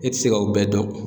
E tɛ se ka o bɛɛ dɔn.